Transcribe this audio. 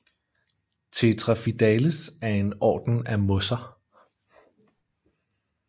Tetraphidales er en orden af mosser